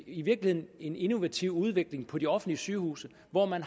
i virkeligheden en innovativ udvikling på de offentlige sygehuse hvor man